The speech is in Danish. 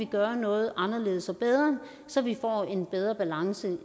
gøre noget anderledes og bedre så vi får en bedre balance